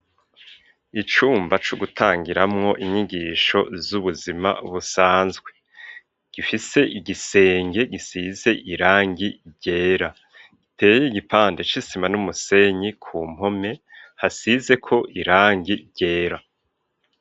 Icumba co gutangiramwo inyigisho z'ubuzima busanzwe gifise igisenge gisize irangi ryera iteye igipande c'isima n'umusenyi ku mpome hasize ko irangi ryera.